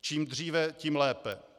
Čím dříve, tím lépe.